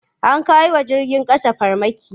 An kai wa jirgin ƙasa farmaki.